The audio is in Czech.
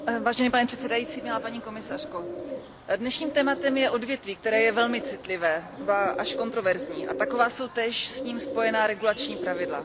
Pane předsedající, paní komisařko, dnešním tématem je odvětví, které je velmi citlivé, ba až kontroverzní, a taková jsou též s ním spojená regulační pravidla.